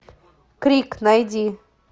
крик найди